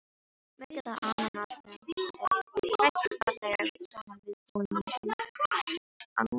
Maukaða ananasnum er hrært varlega saman við búðinginn án safans.